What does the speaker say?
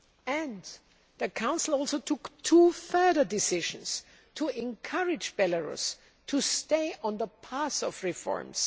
And the Council also took two further decisions to encourage Belarus to stay on the path of reforms.